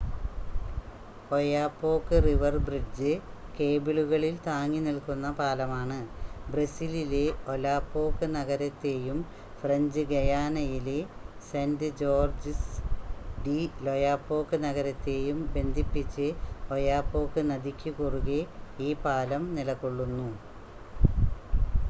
Oyapock river bridge കേബിളുകളിൽ താങ്ങി നിൽക്കുന്ന പാലമാണ് ബ്രസീലിലെ ഒലാപോക്ക് നഗരത്തെയും ഫ്രഞ്ച് ഗയാനയിലെ സെൻ്റ് ജോർജ്ജസ് ഡി ലൊയാപോക്ക് നഗരത്തെയും ബന്ധിപ്പിച്ച് ഒയാപോക്ക് നദിക്കു കുറുകെ ഈ പാലം നിലകൊള്ളുന്നു